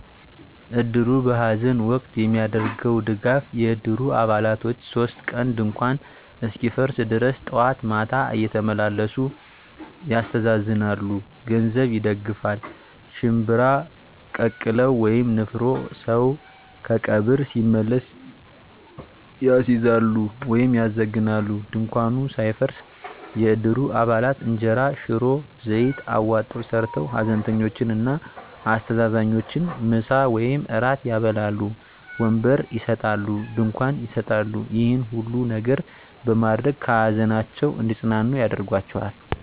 እድሩ በሐዘን ወቅት የሚያደርገዉ ድጋፍ የእድሩ አባላቶች 3 ቀን ድንኳኑ እስኪፈርስ ድረስ ጠዋት ማታ እየተመላለሱ ያስተዛዝናሉ። ገንዘብ ይደግፋል፣ ሽንብራ ቀቅለዉ (ንፍሮ) ሰዉ ከቀብር ሲመለስ ያስይዛሉ(ያዘግናሉ) ፣ ድንኳኑ ሳይፈርስ የእድሩ አባላት እንጀራ፣ ሽሮ፣ ዘይት አዋጠዉ ሰርተዉ ሀዘንተኞችን እና አስተዛዛኞችን ምሳ ወይም እራት ያበላሉ። ወንበር ይሰጣሉ፣ ድንኳን ይሰጣሉ ይሄን ሁሉ ነገር በማድረግ ከሀዘናቸዉ እንዲፅናኑ ያደርጓቸዋል።